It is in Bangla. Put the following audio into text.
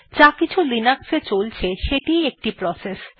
যাকিছু লিনাক্স এ চলছে সেটিই একটি প্রসেস